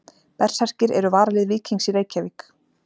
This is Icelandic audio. Berserkir eru varalið Víkings í Reykjavík.